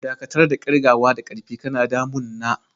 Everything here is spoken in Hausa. Dakatar da kirgawa da ƙarfi, kana damun na!